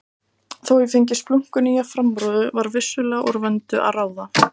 Þó ég fengi splunkunýja framrúðu var vissulega úr vöndu að ráða.